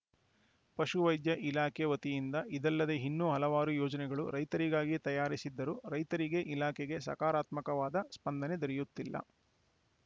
ಪಶುವೈದ್ಯ ಇಲಾಖೆ ವತಿಯಿಂದ ಇದಲ್ಲದೇ ಇನ್ನೂ ಹಲವಾರು ಯೋಜನೆಗಳು ರೈತರಿಗಾಗಿ ತಯಾರಿಸಿದ್ದರೂ ರೈತರಿಗೆ ಇಲಾಖೆಗೆ ಸಕಾರಾತ್ಮಕವಾದ ಸ್ಪಂದನೆ ದೊರೆಯುತ್ತಿಲ್ಲ